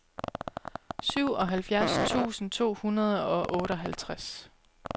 syvoghalvfjerds tusind to hundrede og otteoghalvtreds